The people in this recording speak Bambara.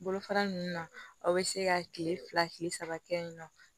Bolofara ninnu na aw bɛ se ka kile fila kile saba kɛ yen nɔ